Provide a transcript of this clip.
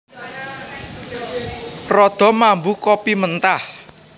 Rada mambu kopi mentah